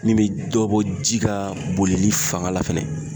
Min be dɔ bɔ ji ka bolili fanga la fɛnɛ